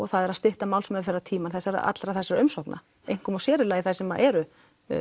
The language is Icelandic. það er að stytta málsmeðferðartímann allra þessara umsókna einkum og sér í lagi þær sem eru